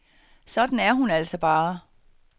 Sådan er hun altså bare.